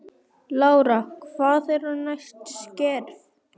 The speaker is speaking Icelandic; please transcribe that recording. Lára: Hver eru næstu skerf?